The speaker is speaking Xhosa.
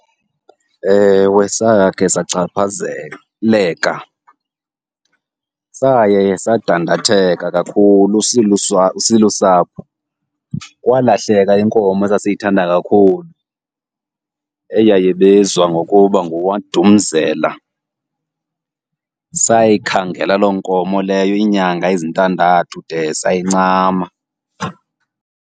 Ewe, sakhe sachaphazeleka. Saye sadandatheka kakhulu silusapho, kwalahleka inkomo esasiyithanda kakhulu eyayibizwa ngokuba nguWadumzela. Sayikhangela loo nkomo leyo iinyanga ezintandathu de sayincama.